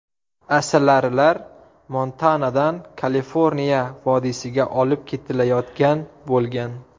Asalarilar Montanadan Kaliforniya vodiysiga olib ketilayotgan bo‘lgan.